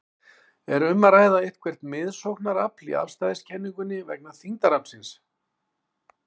Er um að ræða eitthvert miðsóknarafl í afstæðiskenningunni vegna þyngdaraflsins?